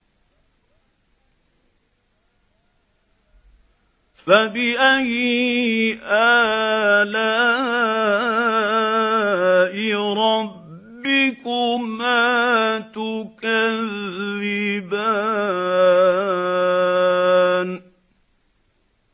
فَبِأَيِّ آلَاءِ رَبِّكُمَا تُكَذِّبَانِ